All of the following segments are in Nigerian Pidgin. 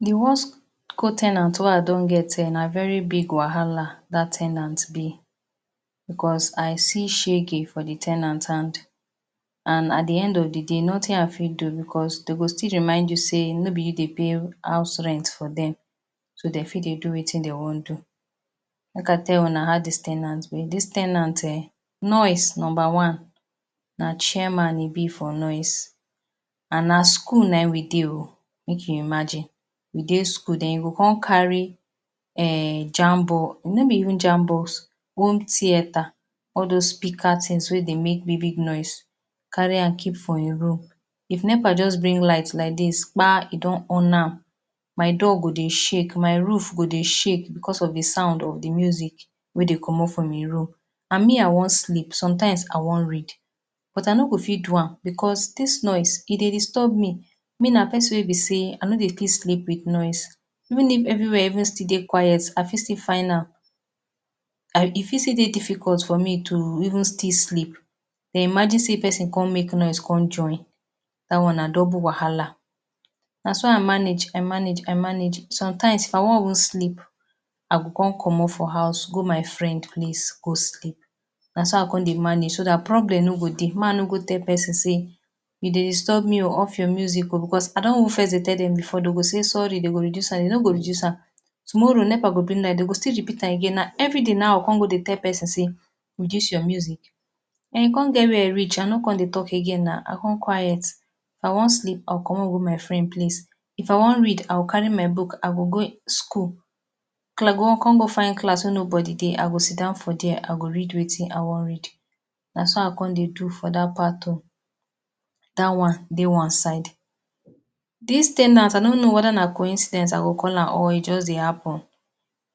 The worst co- ten ant wey I don get ehn! Na very big wahala dat ten ant be. Because, I see shege for the ten ant hand. And at the end of the day, nothing I fit do because, dey go still remind you say no be you dey pay house rent for dem. So, dem fit dey do wetin dey wan do. Make I tell una how dis ten ant be. Dis ten ant ehn! Noise number one. Na chairman e be for noise. And na school nayin we dey oh! make you imagine. We dey school and den you go con carry um jam box. No be even jam box, home theatre. All those speakers tins wey dey make big, big noise. Carry am keep for e room. If Nepa just bring light like dis, kpa! E don on am. My door go dey shake, my roof go dey shake because of the sound of the music wey dey comot from e room. And me I wan sleep. Sometimes, I wan read. But, I no go fit do am. Because, dis noise, e dey disturb me. Me na pesin wey be say, I no dey fit sleep with noise. Even if everywhere even still dey quiet, I still fit find am, e fit dey difficult for me to even still sleep. You can imagine say pesin con make noise con join. Dat one na double wahala. Naso, I manage, I manage, I manage. Sometimes, if I wan even sleep, I go con comot for house go my friend place go sleep. Naso, I con dey manage so dat problem no go dey. Make I no con tell pesin say, “You dey disturb me oh! Off your music oh!” Because I don even fes tell dem before. Dey go say sorry, dey go reduce am. Dey no go reduce am. Tomorrow, Nepa go bring light, dey go still repeat am again. Na everyday nayin I go con tell pesin say, reduce your music? E con get where e reach, I no con talk again na. I con quiet. If I wan sleep, I go comot go my friend place. If I wan read, I go carry my book, I go go school. I go con find class wey nobody dey, I go sit down for there, I go read wetin I wan read. Naso, I con dey do for dat part oh! Dat one, dey one side. Dis ten ant, I no know wether na coincidence I go call am or e just dey happen.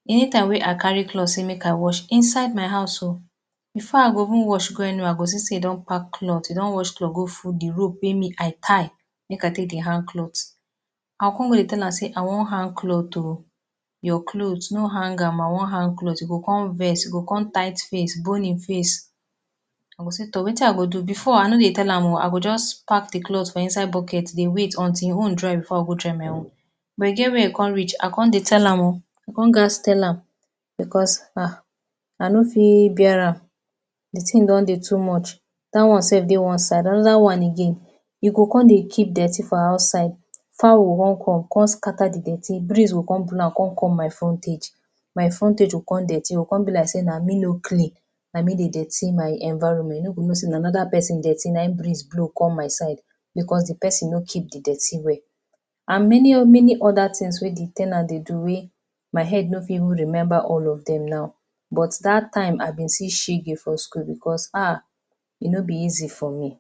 Anytime wey I carry cloth say make I wash. Inside my house oh! Before I go even wash go anywhere, I go see say e don pack cloth, e don wash cloth go full the rope wey me I tie, make I take dey hang cloth. I go con go dey tell am say, “I wan hang cloth oh! Your cloth. No hang am, I wan hang cloth.” E go con vex. E go con tight face, bon e face. I go say, toh wetin I go do? Before, I no dey tell am, I go just pack the cloth for inside bucket dey wait until e own dry before I go dry my own. But, e get where e con reach, I con dey tell am oh! I con gats tell am. Because Ah! I no fit bear am. The thing don dey too much. Dat one sef dey one side. Another one again, e go con dey keep dirty for outside. Fowl go con come come scatter di dirty. Breeze go con blow am con come my frontage. My frontage go con dirty. E go con be like say na me no clean. Na me dey dirty my environment. You no go know say na another pesin dirty na hin breeze blow come my side. Because, the pesin no keep the dirty well. And many many other things wey the ten ant dey do wey my head no fit even remember all of them. But, dat time I been see shege for school because Ah! E no be easy for me.